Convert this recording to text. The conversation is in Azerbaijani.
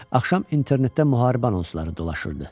Axşam internetdə müharibə anonsları dolaşırdı.